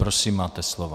Prosím, máte slovo.